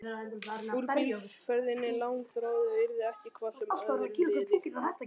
Úr bílferðinni langþráðu yrði ekki hvað sem öðru liði.